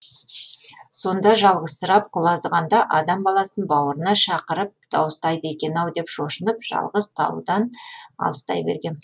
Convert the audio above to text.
сонда жалғызсырап құлазығанда адам баласын бауырына шақырып дауыстайды екен ау деп шошынып жалғыз таудан алыстай бергем